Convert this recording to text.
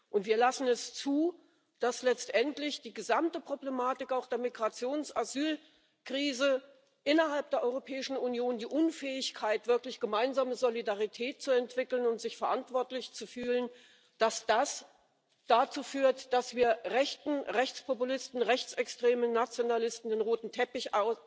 Und wir lassen es zu, dass letztendlich die gesamte Problematik, auch die der Migrations der Asylkrise, innerhalb der Europäischen Union, die Unfähigkeit, wirklich gemeinsame Solidarität zu entwickeln und sich verantwortlich zu fühlen, dazu führt, dass wir Rechten, Rechtspopulisten, Rechtsextremen, Nationalisten den roten Teppich